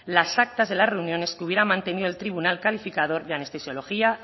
las actas de las reuniones que hubiera mantenido el tribunal calificador de anestesiología